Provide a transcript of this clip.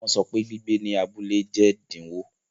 Wọn sọ pe gbigbe ni abule jẹ din owo